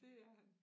Det er han